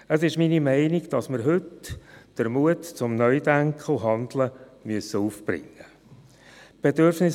Es ist meine Meinung, dass wir heute den Mut zum Neu-Denken und -Handeln aufbringen müssen.